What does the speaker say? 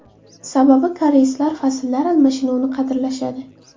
Sababi koreyslar fasllar almashinuvini qadrlashadi.